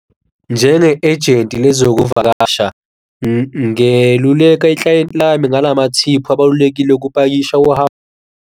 Njenge ejenti nezokuvakasha ngeluleka iklayenti lami ngalamathiphu abalulekile ukupakisha uhambo.